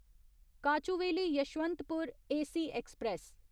Kochuveli Yesvantpur AC express